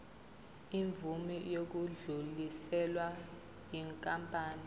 imvume yokudluliselwa yinkampani